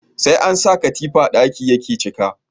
Sai an sa katifa ɗaki yake cika